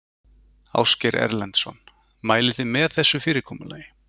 Ásgeir Erlendsson: Mælið þið með þessu fyrirkomulagi?